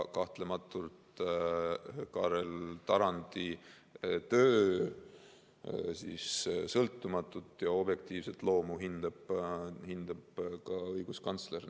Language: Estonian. Kahtlematult, Kaarel Tarandi töö sõltumatut ja objektiivset loomu hindab ka õiguskantsler.